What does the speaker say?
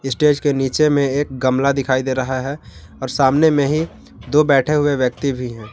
Stage के नीचे में एक गमला दिखाई दे रहा है और सामने में ही दो बैठे हुए व्यक्ति भी हैं।